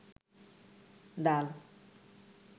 ডাল